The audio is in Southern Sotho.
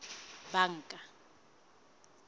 banka